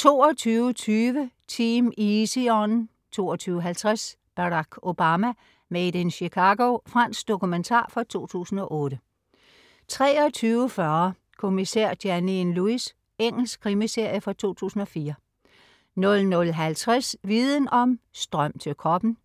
22.20 Team Easy On 22.50 Barack Obama. Made in Chicago. Fransk dokumentar fra 2008 23.40 Kommissær Janine Lewis. Engelsk krimiserie fra 2004 00.50 Viden om: Strøm til kroppen*